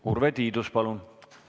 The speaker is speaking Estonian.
Urve Tiidus, palun!